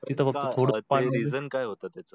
reason काय होत त्याच?